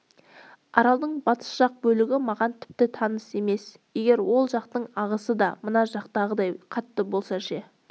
аралдың батыс жақ бөлігі маған тіпті таныс емес егер ол жақтың ағысы да мына жағындағыдай қатты болса ше